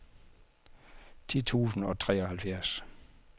ti tusind og treoghalvfjerds